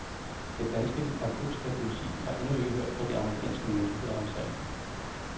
Det danske narkotikapoliti har endnu ikke hørt fra de amerikanske myndigheder om sagen.